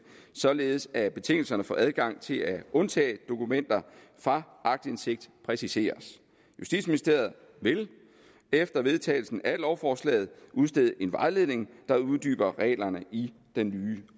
således at betingelserne for adgang til at undtage dokumenter fra aktindsigt præciseres justitsministeriet vil efter vedtagelsen af lovforslaget udstede en vejledning der uddyber reglerne i den